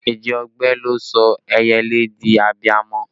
Èjì ogbè ló sọ ẹyẹlé di abiamọ